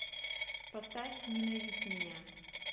поставь ненавидь меня